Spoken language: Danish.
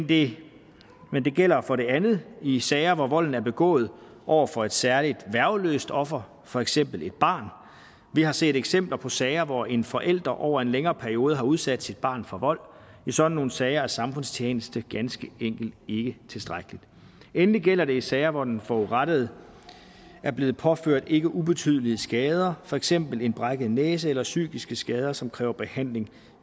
det gælder for det andet i sager hvor volden er begået over for et særlig værgeløst offer for eksempel et barn vi har set eksempler på sager hvor en forælder over en længere periode har udsat sit barn for vold i sådan nogle sager er samfundstjeneste ganske enkelt ikke tilstrækkeligt endelig gælder det i sager hvor den forurettede er blevet påført ikke ubetydelige skader for eksempel en brækket næse eller psykiske skader som kræver behandling